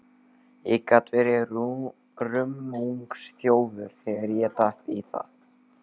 Ég gat verið rummungsþjófur þegar ég datt í það.